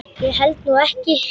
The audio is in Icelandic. Ég held nú ekki!